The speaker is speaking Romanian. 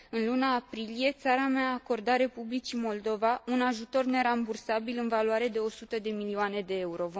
În luna aprilie țara mea a acordat Republicii Moldova un ajutor nerambursabil în valoare de 100 de milioane de euro.